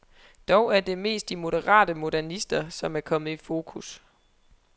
Dog er det mest de moderate modernister, som er kommet i fokus.